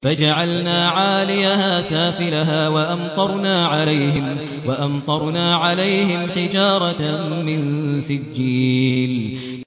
فَجَعَلْنَا عَالِيَهَا سَافِلَهَا وَأَمْطَرْنَا عَلَيْهِمْ حِجَارَةً مِّن سِجِّيلٍ